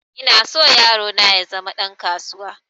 Ina so yaro na ya zama ɗan kasuwa